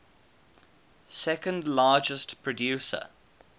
second largest producer